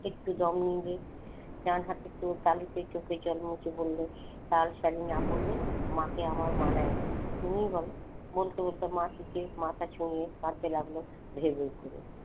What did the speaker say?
একটু দম নেবে ডানহাতে একটু বালিতে চোখের জল মুছে বললে লাল শাড়ি না পড়লে মাকে আমার মানায় না। তুমি বল? বলতে বলতে মাথা ছুয়ে কাঁদতে লাগল ভেউ ভেউ করে।